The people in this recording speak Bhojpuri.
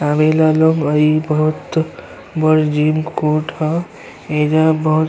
आवे ला लोग अई बोहोत बड़ जिम कोट ह एईजा बहुत --